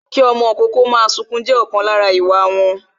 Kí ọmọ ìkókó máa sunkún jẹ́ ọ̀kan lára àwọn ìwà wọn